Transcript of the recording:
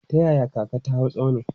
Ta yaya kaka ta hau tsaunin?